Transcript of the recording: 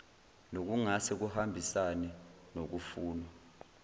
nokungase kuhambisane nokufunwa